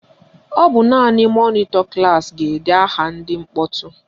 Ọ bụ naanị mọnịtọ klaasị ga-ede aha ndị mkpọtụ